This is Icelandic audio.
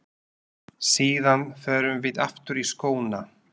Síðan förum við aftur í skóna.